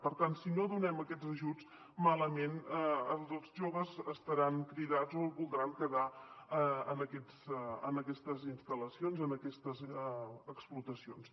per tant si no donem aquests ajuts malament els joves estaran cridats o no es voldran quedar en aquestes instal·lacions en aquestes explotacions